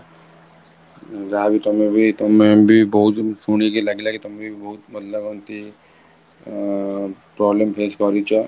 ଯାହା ଅବି ତମେ ବି, ତମେ ବି ବହୁତ ଜିନିଷ ଶୁଣିକି ଲାଗିଲା କି ତମେ ବି ବହୁତ ଅ problem face କରିଛ